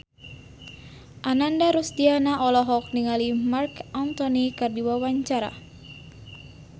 Ananda Rusdiana olohok ningali Marc Anthony keur diwawancara